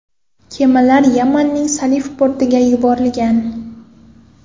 Kemalar Yamanning Salif portiga yuborilgan.